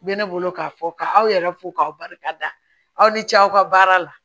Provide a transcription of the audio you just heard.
Bɛ ne bolo k'a fɔ ka aw yɛrɛ fo k'aw barika da aw ni ce aw ka baara la